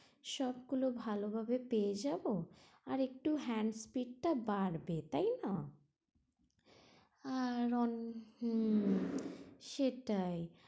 সবগুলো ভালো ভাবে পেয়ে যাবো, আর একটু hand speed টা বাড়বে তাই না?